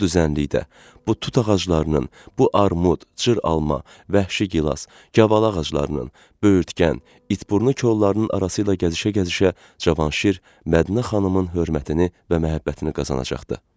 Bu düzənlikdə, bu tut ağaclarının, bu armud, cır alma, vəhşi gilas, gavalı ağaclarının, böyürtkən, itburnu kollarının arasıyla gəzişə-gəzişə Cavanşir Mədinə xanımın hörmətini və məhəbbətini qazanacaqdı.